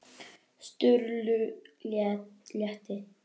Sturlu létti.